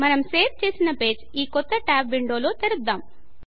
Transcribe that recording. మనము సేవ్ చేసిన పేజ్ ఈ కొత్త ట్యాబ్ విండోలో తెరుద్దం